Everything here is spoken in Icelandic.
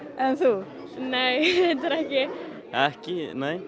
en þú nei reyndar ekki ekki